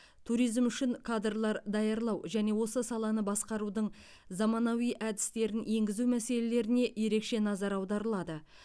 туризм үшін кадрлар даярлау және осы саланы басқарудың заманауи әдістерін енгізу мәселелеріне ерекше назар аударылады